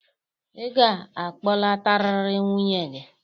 Ị ga-akpọlatarịrị nwunye gị.